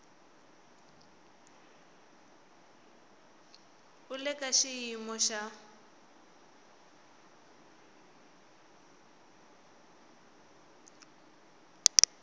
u le ka xiyimo xo